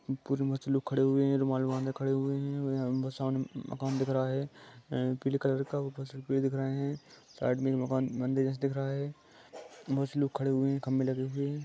खड़े हुए हैरुमाल बांधे खड़े हुए है यहाँ आमने -सामने मकान दिख रहा है ए पीले कलर का ऊपर दिख रहे है साइड मे मकान मंदिर दिख रहा है बहोत लोग खड़े हुए है।